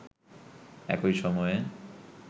একই সময়ে